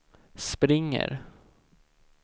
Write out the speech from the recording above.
springer